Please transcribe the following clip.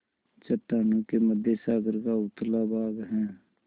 चट्टानों के मध्य सागर का उथला भाग है